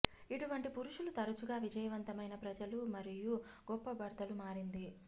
ఇటువంటి పురుషులు తరచుగా విజయవంతమైన ప్రజలు మరియు గొప్ప భర్తలు మారింది